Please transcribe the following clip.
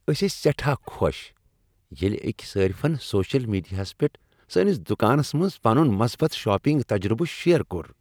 أسۍ ٲسۍ سیٹھاہ خوش ییٚلہ أکۍ صٲرفن سوشل میڈیاہس پیٹھ سٲنس دکانس منٛز پنن مثبت شاپنگ تجربہٕ شیئر کوٚر۔